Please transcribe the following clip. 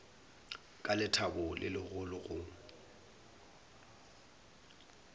ka lethabo le legolo go